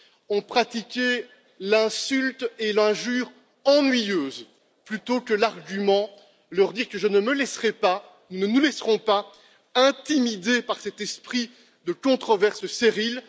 ont pratiqué l'insulte et l'injure ennuyeuses plutôt que l'argument, leur dire que je ne me laisserai pas, nous ne nous laisserons pas intimider par cet esprit de controverse stérile.